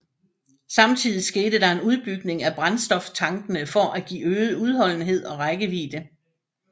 Samtidig skete der en udbygning af brændstoftankene for at givet øget udholdenhed og rækkevidde